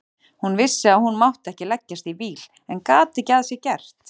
Hún vissi að hún mátti ekki leggjast í víl en gat ekki að sér gert.